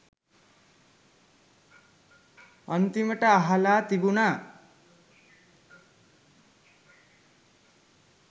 අන්තිමට අහල තිබුන